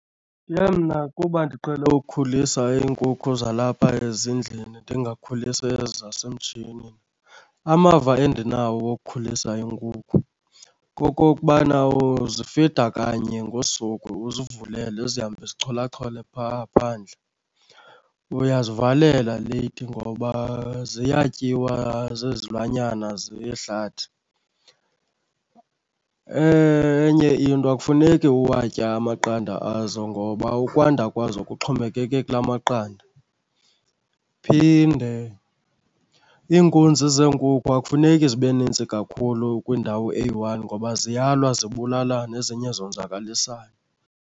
Ke mna kuba ndiqhele ukhulisa iinkukhu zalapha ezindlini ndingakhulisi ezi zasemtshinini, amava endinawo wokukhulisa iinkukhu kokokubana uzifida kanye ngosuku uzivulele zihambe zicholachole phaa phandle. Uyazivalela leyithi ngoba ziyatyiwa zizilwanyana zehlathi. Enye into akufuneki uwatye amaqanda azo ngoba ukwanda kwazo kuxhomekeke kulaa maqanda. Phinde iinkunzi zeenkukhu akufuneki zibe nintsi kakhulu kwindawo eyi-one ngoba ziyalwa zibulalane ezinye zonzakalisane.